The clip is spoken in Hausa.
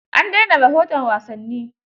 An daina rahoton wasanni.